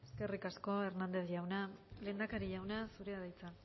eskerrik asko hernández jauna lehendakari jauna zurea da hitza